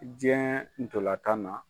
Diɲɛ ntolan tan na.